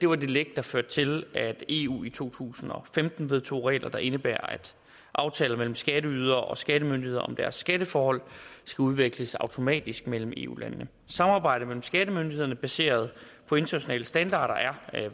var det læk der førte til at eu i to tusind og femten vedtog regler der indebærer at aftaler mellem skatteydere og skattemyndigheder om deres skatteforhold skal udveksles automatisk mellem eu landene samarbejde mellem skattemyndighederne baseret på internationale standarder er